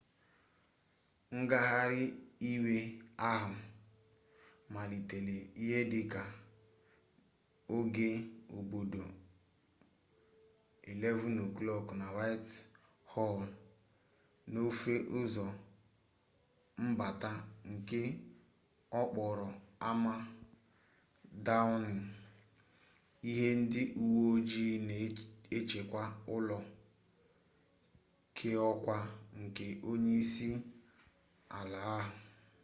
ngagharị iwe ahụ malitere ihe dị ka oge obodo 11:00 utc+1 na whitehall n’ofe ụzọ mbata nke okporo ámá downing ahụ ndị uwe ojii na-echekwa ụlọ keọkwa nke onye isi ala ahụ